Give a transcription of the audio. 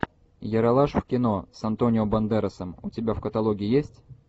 ералаш в кино с антонио бандеросом у тебя в каталоге есть